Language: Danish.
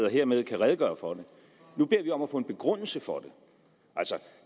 og hermed kan redegøre for det nu beder vi om at få en begrundelse for det